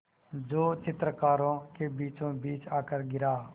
जो चित्रकारों के बीचोंबीच आकर गिरा